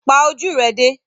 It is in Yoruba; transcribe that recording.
Pa ojú rẹ dé!